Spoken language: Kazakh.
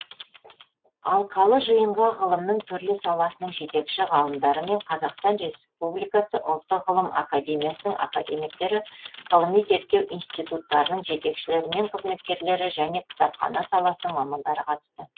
алқалы жиынға ғылымның түрлі саласының жетекші ғалымдары мен қазақстан республикасы ұлттық ғылым академиясының академиктері ғылыми зерттеу институттарының жетекшілері мен қызметкерлері және кітапхана саласының мамандары қатысты